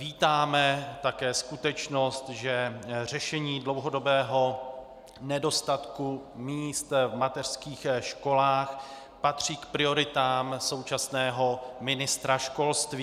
Vítáme také skutečnost, že řešení dlouhodobého nedostatku míst v mateřských školách patří k prioritám současného ministra školství.